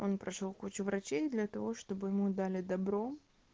он прошёл кучу врачей для того чтобы ему дали добро